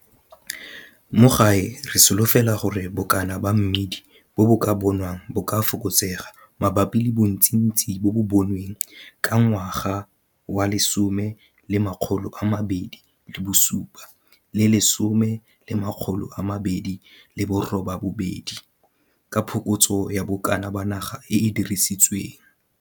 Mo gae re solofela gore bokana ba mmidi bo bo ka bonwang bo ka fokotsega mabapi le bontsintsi bo bo bonweng ka 2017-2018, ka phokotso ya bokana ba naga e e dirisitsweng.